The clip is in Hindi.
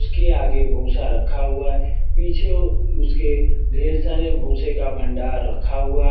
उसके आगे भूसा रखा हुआ है पीछे उसके ढ़ेर सारे भूसे का भंडार रखा हुआ है।